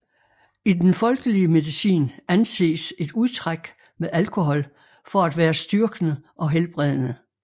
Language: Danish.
I den folkelige medicin anses et udtræk med alkohol for at være styrkende og helbredende